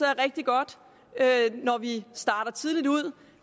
rigtig godt når vi starter tidligt ud